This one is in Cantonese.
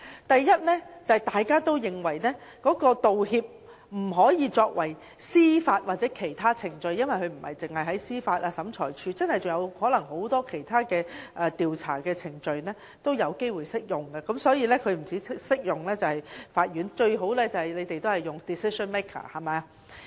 第一，大家都認為道歉不應只適用於司法或其他程序，因為不止司法機關或審裁處，很多其他調查程序也有機會適用，因此不止法院適用，最好便是用 "decision maker" 這字眼。